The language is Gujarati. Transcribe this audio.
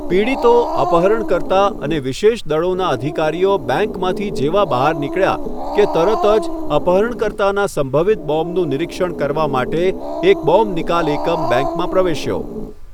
પીડિતો, અપહરણકર્તા અને વિશેષ દળોનાં અધિકારીઓ બેંકમાંથી જેવા બહાર નીકળ્યા કે તરત જ અપહરણકર્તાનાં સંભવિત બોમ્બનું નિરીક્ષણ કરવા માટે એક બોમ્બ નિકાલ એકમ બેંકમાં પ્રવેશ્યો.